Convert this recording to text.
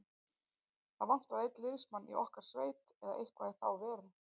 Það vantaði einn liðsmann í okkar sveit eða eitthvað í þá veru.